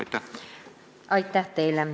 Aitäh teile!